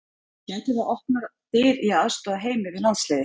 Gæti það opnað dyr í að aðstoða Heimi við landsliðið?